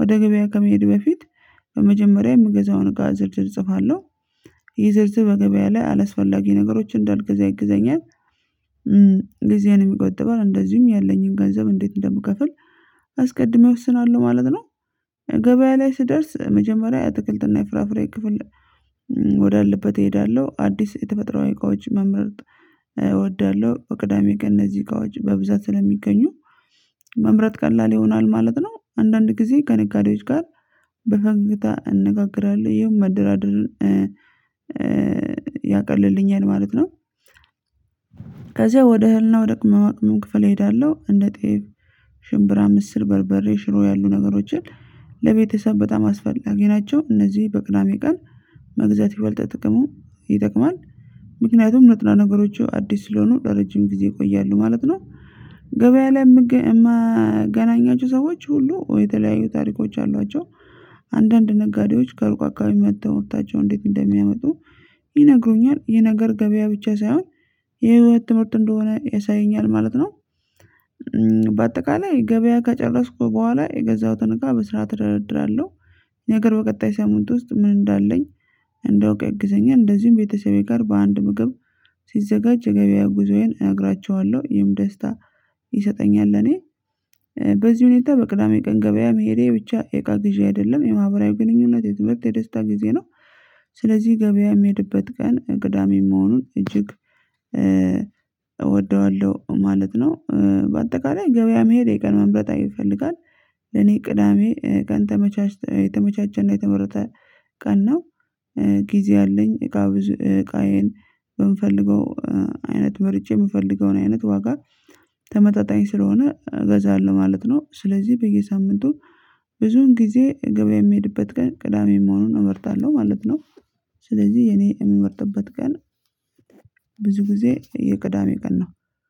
ወደ ገበያ ከመሄድ በፊት በመጀመሪያ የምገዛውን እቃ ዝርዝር እጽፋለሁ ይህ ዝርዝር በገበያ ላይ አላስፈላጊ ነገሮች እንዳልገዛ ይግዘኛል። ጊዜዬንም ይቆጥባል። እንደዚሁም ያለኝን ገንዘብ እንዴት እንደምከፍል አስቀድሜ እወስናለሁ ማለት ነው። ገበያ ላይ ስደርስ መጀመሪያ የአትክልትና የፍራፍሬ ክፍል ወዳለበት እሄዳለሁ። አዲስ የተፈጥሮ እቃዎች መምረጥ እወዳለሁ። ቅዳሜ ቀን እነዚህ እቃዎች በብዛት ስለሚገኙ መምረጥ ቀላል ይሆናል ማለት ነው። አንዳንድ ጊዜ ከነጋዴዎች ጋር በፈገግታ እንነጋገራለሁ ይህም መደራደርን ያቀልልኛል ማለት ነው ከዛ ወደ እህልና ወደ ቅመማ ቅመም ክፍል እሄዳለሁ። እንደ ጤፍ፣ ሽምብራ፣ ምስር፣ በርበሬ፣ ሽሮ ያሉ ነገሮችን ለቤተሰብ በጣም አስፈላጊ ናቸው። እነዚህ በቅዳሜ ቀን መግዛት ይበልጥ ጥቅሙ ይጠቅማል። ምክንያቱም ንጥረ ነገሮቹ አዲስ ስለሆኑ ለረጅም ጊዜ ይቆያሉ ማለት ነው። ገበያ ላይ የምገኝ ማገናኛቸው ሰዎች ሁሉ የተለያዩ ታሪኮች አሏቸው። አንዳንድ ነጋዴዎች ከሩቅ አካባቢ መጥተው ምርታቸውን እንዴት እንደሚያመጡ ይነግሩኛል። ይህ ነገር ገበያ ብቻ ሳይሆን የህይወት ትምህርት እንደሆነ ያሳየኛል ማለት ነው። በአጠቃላይ ገበያ ከጨረስኩ በኋላ የገዛሁትን እቃ በስራዓት እደረድራለሁ ነገር በቀጣይ ሳምንት ውስጥ ምን እንዳለኝ እንዳውቅ ያግዘኛል እንደዚሁም ቤተሰቤ ጋር በአንድ ምግብ ሲዘጋጅ የገበያ ጉዞዬን እነግራቸዋለሁ ይሄም ደስታ ይሰጠኛል እኔ በዚህ ሁኔታ በቅዳሜ ቀን ገበያ መሄዴ ብቻ የቃ ግዢ አይደለም የማህበራዊ ግንኙነት የዝምታ የደስታ ጊዜ ነው። ስለዚህ ገበያ የሚሄድበት ቀን ግዳሜ መሆኑን እጅግ እወደዋለሁ ማለት ነው በአጠቃላይ ገበያ መሄድ የቀን መምረጥ ይፈልጋል እኔ ቅዳሜ ቀን ተመቻች የተመቻቸና የተመረጠ ቀን ነው ጊዜ አለኝ እቃ እቃዬን ብንፈልገው አይነት መርጬ የምፈልገውን አይነት ዋጋ ተመጣጣኝ ስለሆነ ገዛአለሁ ማለት ነው ስለዚህ በየሳምንቱ ብዙውን ጊዜ ገበያ የምሄድበት ቀን ቅዳሜ መሆኑን እመርጣለሁ ማለት ነው። ስለዚህ የኔ የምመርጥበት ቀን ብዙ ጊዜ የቅዳሜ ቀን ነው።